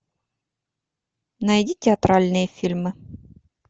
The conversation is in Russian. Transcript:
найди театральные фильмы